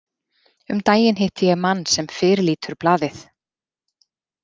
Um daginn hitti ég mann sem fyrirlítur blaðið.